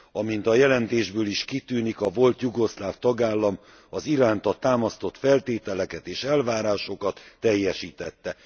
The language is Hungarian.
Amint a jelentésből is kitűnik, a volt jugoszláv tagállam az iránta támasztott feltételeket és elvárásokat teljesítette.